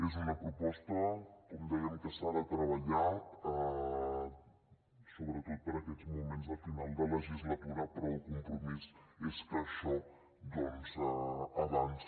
és una proposta com dèiem que s’ha de treballar sobretot per aquests moments de final de legislatura però el compromís és que això doncs avanci